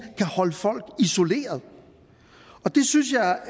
kan holde folk isoleret det synes jeg